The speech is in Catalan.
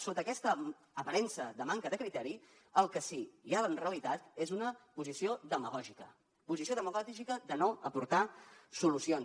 sota aquesta aparença de manca de criteri el que sí que hi ha en realitat és una posició demagògica posició demagògica de no aportar solucions